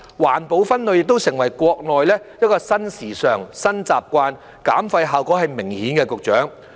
環保分類亦成為國內的新時尚、新習慣，減廢效果是明顯的，局長。